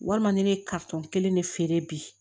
Walima ne ye kelen de feere bi